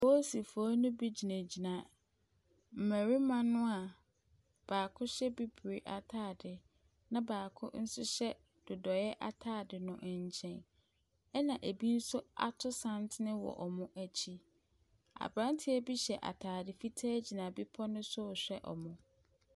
Apolisifoɔ no bi gyinagyina mmarima no a baako hyɛ bibire atade na baako nso hyɛ dodɔeɛ atade no nkyɛn, ɛnna ebi nso ato santene wɔ wɔn akyi. Aberanteɛ bi hyɛ atadeɛ fitaa bi gyina bepɔ no so rehwɛ wɔn.